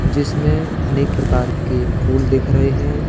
जिसमें अनेक प्रकार के फूल दिख रहे हैं।